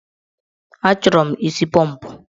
Achọrọ mụ isi pọmpụ.